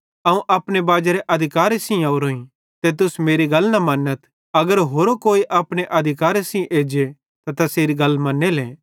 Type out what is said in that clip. अवं अपने बाजेरे अधिकारे सेइं ओरोईं ते तुस मेरी गल न मन्नथ अगर होरो कोई अपने अधिकारे सेइं एज्जे त तैसेरी गल मन्नेले